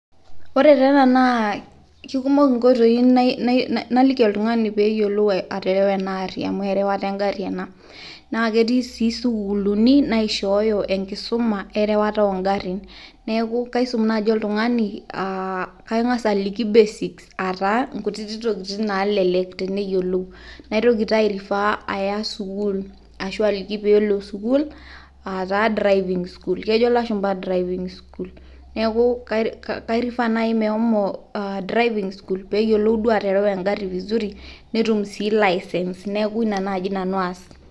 Ore taa ena naa kekumok nkoitoi naliki oltung'ani peeyiolou aterawa ena arri amu erewata engarri ena, naa ketii sii sukuliini naishooyo enkisoma erawata oongarrin neaku kaisum naji oltung'ani ang'as aliki basics aa taa ntokitin naalelek teneyiolou, naitoki taa airifaa aya sukuul ashu aliki peelo sukuul aataa driving school kejo lashumba driving school, neaku kairifaa nai meshomo driving school peeyiolou naii atarawa ingarri fisuri netum sii license neaku ina naaji nanu aas.